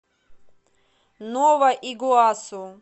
нова игуасу